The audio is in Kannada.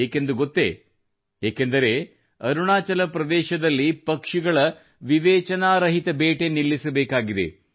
ಏಕೆಂದು ಗೊತ್ತೆ ಏಕೆಂದರೆ ಅರುಣಾಚಲ ಪ್ರದೇಶದಲ್ಲಿ ಪಕ್ಷಿಗಳ ವಿವೇಚನಾರಹಿತ ಬೇಟೆ ನಿಲ್ಲಿಸಬೇಕಾಗಿದೆ